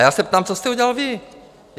A já se ptám, co jste udělal vy?